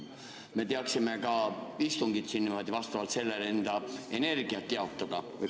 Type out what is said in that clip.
Me teaksime ka istungit siin niimoodi ja vastavalt sellele enda energiat jaotada.